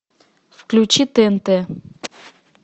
включи тнт